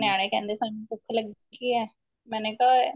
ਨਿਆਣੇ ਕਹਿੰਦੇ ਸਾਨੂੰ ਭੁੱਖ ਲਗੀ ਏ ਮੈਨੇ ਕਿਆ